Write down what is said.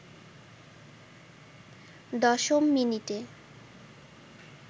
দশম মিনিটে